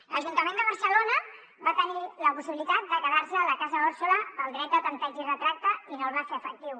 l’ajuntament de barcelona va tenir la possibilitat de quedarse la casa òrsola pel dret de tanteig i retracte i no el va fer efectiu